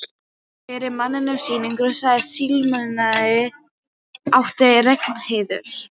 Með fyrri manni sínum, Gissuri sýslumanni, átti Ragnheiður